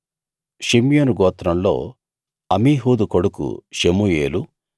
షిమ్యోను గోత్రంలో అమీహూదు కొడుకు షెమూయేలు